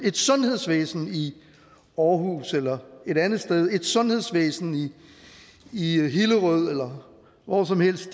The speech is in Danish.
et sundhedsvæsen i aarhus eller et andet sted et sundhedsvæsen i hillerød eller hvor som helst